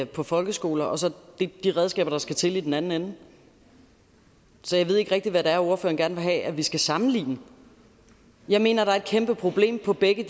på folkeskoler og så de redskaber der skal til i den anden ende så jeg ved ikke rigtig hvad det er ordføreren gerne vil have at vi skal sammenligne jeg mener at der er et kæmpe problem på begge